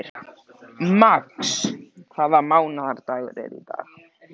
Max, hvaða mánaðardagur er í dag?